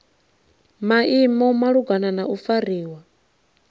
maimo malugana na u fariwa